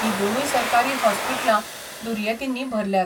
ही दोनूय सरकारी हॉस्पिटलां दुर्येतींनी भरल्यात.